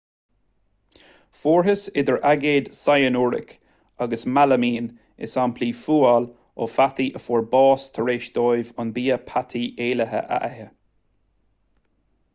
fuarthas idir aigéad cyanuric agus mealaimín i samplaí fuail ó pheataí a fuair bás tar éis dóibh an bia peataí éillithe a ithe